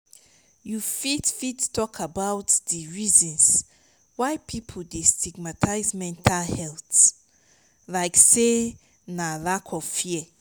you fit fit talk about di reasons why people dey stigmatize mental health like say na lack of fear?